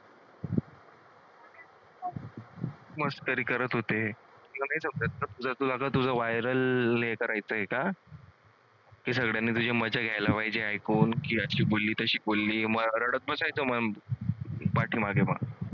मस्करी करत होते. तुला नाही समजत का viral हे करायचं आहे का? की तुझी मजा घ्यायला पाहिजे ऐकून की अशी बोलली तशी रडत बसायचं पाठीमागे म